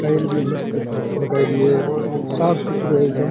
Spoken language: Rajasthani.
टाइल भी मस्त लगायेड़ी है साफ़ सुथरो है एकदम।